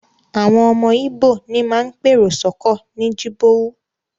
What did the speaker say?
Àwọn ọmọ Íbò ní máa ń pèrò sọ́kọ̀ ní Jibowu